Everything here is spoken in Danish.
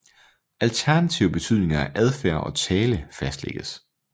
Alternative betydninger af adfærd og tale fastlægges